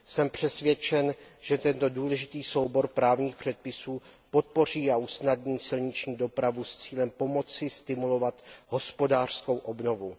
Jsem přesvědčen, že tento důležitý soubor právních předpisů podpoří a usnadní silniční dopravu s cílem pomoci stimulovat hospodářskou obnovu.